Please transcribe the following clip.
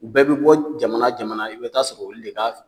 U bɛɛ bi bɔ jamana o jamana i bɛ taa sɔrɔ olu de ka